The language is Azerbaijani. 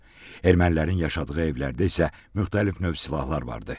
Ermənilərin yaşadığı evlərdə isə müxtəlif növ silahlar vardı.